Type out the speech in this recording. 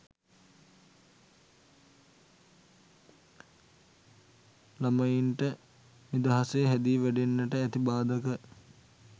ළමයින්ට නිදහසේ හැදී වැඩෙන්නට ඇති බාධක